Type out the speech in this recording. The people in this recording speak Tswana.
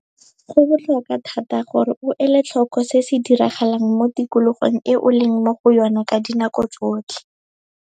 Go botlhokwa thata gore o ele tlhoko se se diragalang mo tikologong e o leng mo go yona ka dinako tsotlhe.